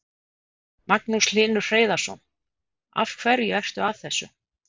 Magnús Hlynur Hreiðarsson: Af hverju ertu að þessu?